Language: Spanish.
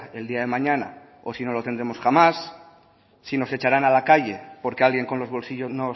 el día de mañana o si no lo tendremos jamás si nos echarán a la calle porque alguien con los bolsillos